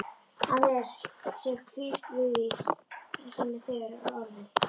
Að mér sé hlíft við því sem þegar er orðið.